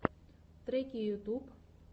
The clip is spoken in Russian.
треки ютуб